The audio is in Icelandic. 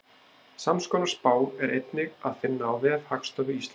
Samskonar spá er einnig að finna á vef Hagstofu Íslands.